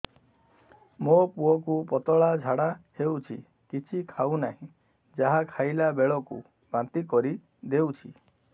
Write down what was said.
ମୋ ପୁଅ କୁ ପତଳା ଝାଡ଼ା ହେଉଛି କିଛି ଖାଉ ନାହିଁ ଯାହା ଖାଇଲାବେଳକୁ ବାନ୍ତି କରି ଦେଉଛି